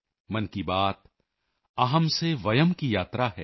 ਮਨ ਕੀ ਬਾਤ ਅਹਮ੍ ਸੇ ਵਯਮ੍ ਕੀ ਯਾਤਰਾ ਹੈ